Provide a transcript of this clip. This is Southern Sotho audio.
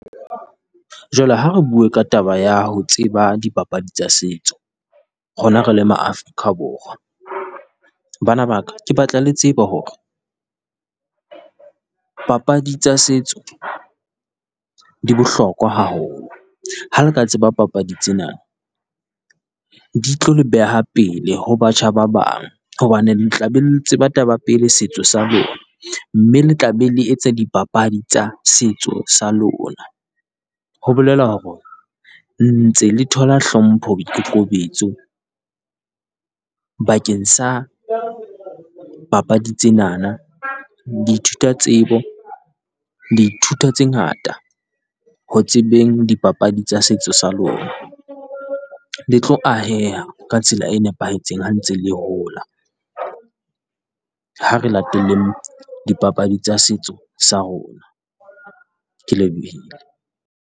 Jwale ha re bue ka taba ya ho tseba dipapadi tsa setso, rona re le ma Afrika Borwa. Bana ba ka, ke batla le tsebe hore papadi tsa setso di bohlokwa haholo, ha le ka tseba papadi tsena di tlo le beha pele ho batjha ba bang, hobane le tla be le tseba taba pele setso sa lona. Mme le tla be le etsa dipapadi tsa setso sa lona, ho bolela hore ntse le thola hlompho boikokobetso bakeng sa papadi tsenana di ithuta tsebo, le ithuta tse ngata ho tsebeng dipapadi tsa setso sa lona. Le tlo ahea ka tsela e nepahetseng ha ntse le hola. Ha re lateleng dipapadi tsa setso sa rona. Ke lebohile.